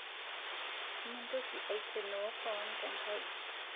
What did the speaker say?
Mintoki aikenoo koon tenkaji